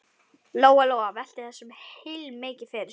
Lóa-Lóa velti þessu heilmikið fyrir sér.